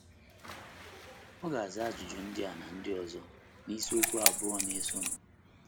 A ga - aza ajụjụ ndị a na ndị ọzọ n’isiokwu abụọ na - esonụ.